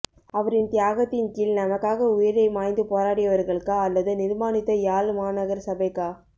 அவரின் தியாகத்தின் கீழ் நமக்காக உயிரை மாய்த்து போராடியவர்களுக்கா அல்லது நிர்மானித்த யாழ் மாநகர சபைக்கா